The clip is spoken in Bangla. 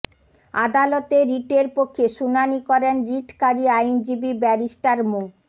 আদালতে রিটের পক্ষে শুনানি করেন রিটকারী আইনজীবী ব্যারিস্টার মো